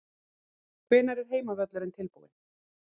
Hvenær er heimavöllurinn tilbúinn?